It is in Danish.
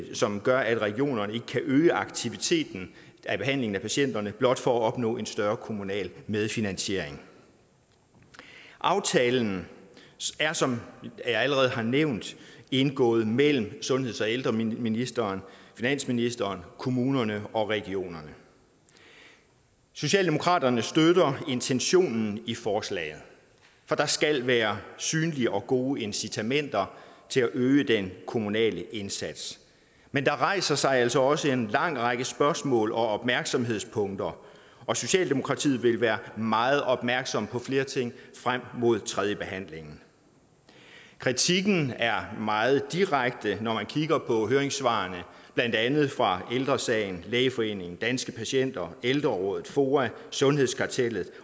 som gør at regionerne ikke kan øge aktiviteten af behandlingen af patienterne blot for at opnå en større kommunal medfinansiering aftalen er som jeg allerede har nævnt indgået mellem sundheds og ældreministeren finansministeren kommunerne og regionerne socialdemokratiet støtter intentionen i forslaget for der skal være synlige og gode incitamenter til at øge den kommunale indsats men der rejser sig altså også en lang række spørgsmål og opmærksomhedspunkter og socialdemokratiet vil være meget opmærksom på flere ting frem mod tredjebehandlingen kritikken er meget direkte når man kigger på høringssvarene blandt andet fra ældre sagen lægeforeningen danske patienter ældreråd foa sundhedskartellet